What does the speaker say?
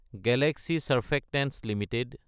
Galaxy surfactants Ltd